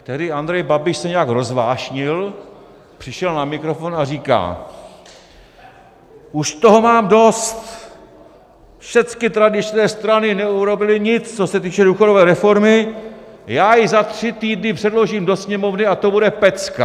Tehdy Andrej Babiš se nějak rozvášnil, přišel na mikrofon a říká: Už toho mám dost, všecky tradičné strany neurobily nic, co se týče důchodové reformy, já ji za tři týdny předložím do Sněmovny, a to bude pecka.